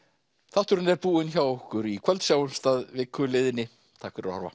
þátturinn er búinn hjá okkur í kvöld sjáumst að viku liðinni takk fyrir að horfa